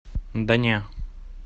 да не